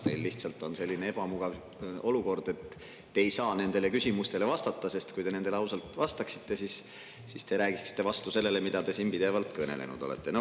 Teil on lihtsalt selline ebamugav olukord, et te ei saa nendele küsimustele vastata, sest kui te nendele ausalt vastaksite, siis te räägiksite vastu sellele, mida te siin pidevalt kõnelenud olete.